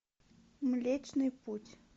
млечный путь